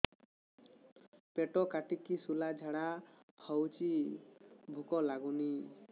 ପେଟ କାଟିକି ଶୂଳା ଝାଡ଼ା ହଉଚି ଭୁକ ଲାଗୁନି